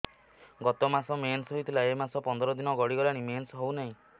ଗତ ମାସ ମେନ୍ସ ହେଇଥିଲା ଏ ମାସ ପନ୍ଦର ଦିନ ଗଡିଗଲାଣି ମେନ୍ସ ହେଉନାହିଁ